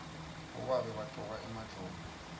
bobabe bagcoka emajobo